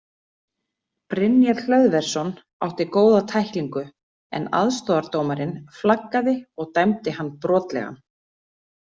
Brynjar Hlöðversson átti góða tæklingu en aðstoðardómarinn flaggaði og dæmdi hann brotlegan.